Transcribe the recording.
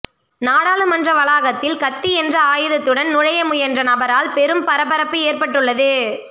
நாடாளுமன்ற வளாகத்தில் கத்தி என்ற ஆயுதத்துடன் நுழைய முயன்ற நபரால் பெரும் பரபரப்பு ஏற்பட்டுள்ளது